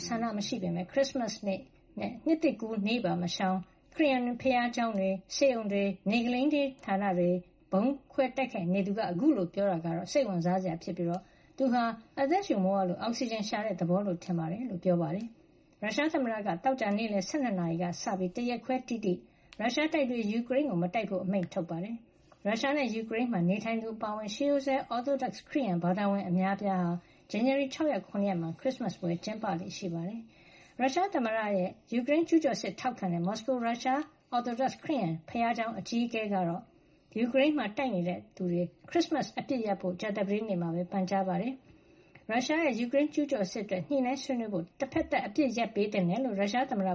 ဆန္ဒမရှိပေမယ့် ခရစ်စမတ်နေ့နဲ့ နှစ်သစ်ကူးနေ့ပါမရှောင် ခရစ်ယာန် ဘုရားကျောင်းတွေ၊ ဆေးရုံ၊ ဆေးခန်းတွေကို ဗုံးကျဲတိုက်ခိုက်ဖို့ ဝန်မလေးတဲ့သူက ပြောတာဟာ စိတ်ဝင်စားစရာ ဖြစ်သလို၊ အသက်ရှုပေါက်ရရုံ လုပ်တဲ့သဘောလို့သာ ယူဆကြောင်း သမ္မတဘိုင်ဒင်က သတင်းထောက်တွေကို ပြောခဲ့တာပါ။ ရုရှားသမ္မတက သောကြာနေ့လည် ၁၂ နာရီကစပြီး ၁ ရက်ခွဲတိတိ ရုရှားတပ်တွေ ယူကရိန်းကို မတိုက်ခိုက်ဖို့ အမိန့်ထုတ်ထားတယ်လို့ ရုရှားအစိုးရက ပြောပါတယ်။ ရုရှားနဲ့ ယူကရိန်းမှာ နေထိုင်သူတွေ အပါအဝင် ရှေးရိုးစွဲ Orthodox ခရစ်ယန်ဘာသာဝင် အများအပြားဟာ ဇန်နဝါရီ ၆ ရက်နဲ့ ၇ ရက်တွေမှာ ခရစ်စမတ်ပွဲ ကျင်းပလေ့ရှိပါတယ်။ ရုရှားသမ္မတရဲ့ ယူကရိန်း ကျူးကျော်စစ်ကို ထောက်ခံတဲ့ မော်စကိုက ရုရှား Orthodox ခရစ်ယန်ဘုရားကျောင်း အကြီးအကဲ Patriarch Kirill ကလည်း ယူကရိန်းမှာ တိုက်ခိုက်နေတဲ့ ရုရှားတွေနဲ့ ယူကရိန်းတွေ ခရစ်စမတ်အပစ်ရပ်ဖို့ ကြာသပတေးနေ့မှာ ပန်ကြားထားပါတယ်။ တချိန်တည်းမှာပဲ၊ ရုရှားရဲ့ ယူကရိန်းကျူးကျော်စစ် အတွက် ညှိနှိုင်းဆွေးနွေးဖို့ တဘက်သတ် အပစ်ရပ်ပေးသင့်တယ်လို့ ရုရှားသမ္မတ